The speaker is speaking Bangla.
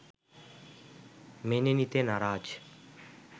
মেনে নিতে নারাজ